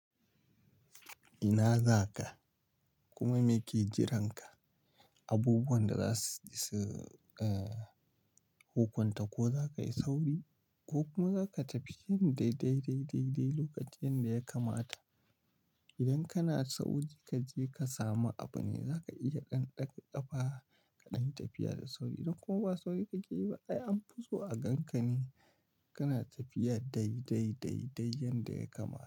Ina za ka? Kuma me ke jiranka? Abubuwan da za su hukunta, ko za ka yi sauri ko kuma za ka tafi yin dai dai dai lokacin da ya kamata. Idan kana sauri kaje ka samu abu ne, za ka iya ɗan ɗaga ƙafa kaɗan yi tafiya da sauri. Ko ba sauri kake yi ba, ai an fi so a ganka ne kana tafiya dai dai dai yanda ya kamata.